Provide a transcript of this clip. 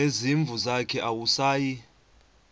nezimvu zakhe awusayi